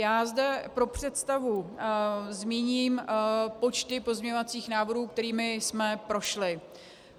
Já zde pro představu zmíním počty pozměňovacích návrhů, kterými jsme prošli.